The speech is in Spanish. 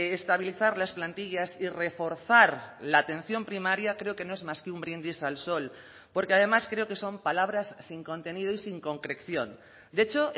estabilizar las plantillas y reforzar la atención primaria creo que no es más que un brindis al sol porque además creo que son palabras sin contenido y sin concreción de hecho